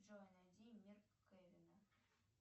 джой найди мир кевина